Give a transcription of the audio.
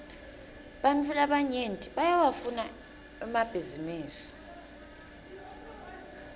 ebantfu labanyenti bayawafuna emabhisinisi